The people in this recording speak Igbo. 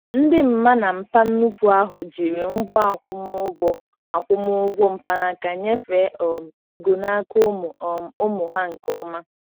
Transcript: Ndị mma na mpa nnukwu ahụ jiri ngwa akwụmụgwọ akwụmụgwọ mkpanaka nyefee um ego n'aka ụmụ um ụmụ ha nke ọma.